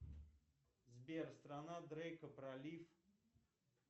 сбер страна дрейка пролив